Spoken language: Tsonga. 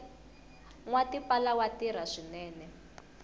nwa tipala wa tirha swinene